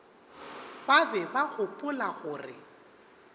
ba be ba gopola gore